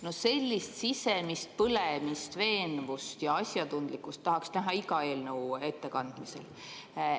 No sellist sisemist põlemist, veenvust ja asjatundlikkust tahaks näha iga eelnõu ettekandmisel.